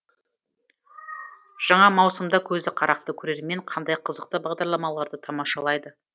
жаңа маусымда көзі қарақты көрермен қандай қызықты бағдарламаларды тамашалайды